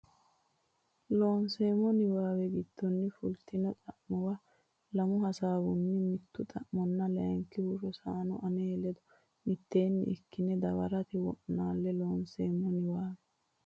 Loonseemmo niwaawe giddonni fultino xa muwa lami hasaawunni mittu xa manna layinkihu Rosano ane ledo mitteenni ikkine dawarate wo naalle Loonseemmo niwaawe.